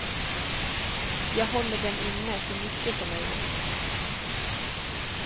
Jag håller dem inne så mycket som möjligt.